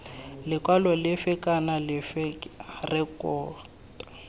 lekwalo lefe kana lefe rekota